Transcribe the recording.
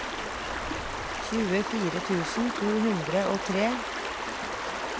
tjuefire tusen to hundre og tre